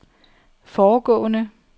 foregående